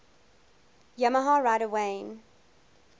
yamaha rider wayne